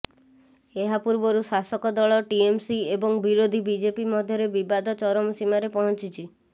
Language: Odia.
ଏହା ପୂର୍ବରୁ ଶାସକ ଦଳ ଟିଏମସି ଏବଂ ବିରୋଧୀ ବିଜେପି ମଧ୍ୟରେ ବିବାଦ ଚରମସୀମାରେ ପହଞ୍ଚିଛି